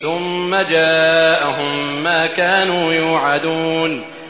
ثُمَّ جَاءَهُم مَّا كَانُوا يُوعَدُونَ